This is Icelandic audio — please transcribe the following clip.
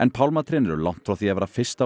pálmatrén eru langt frá því að vera fyrsta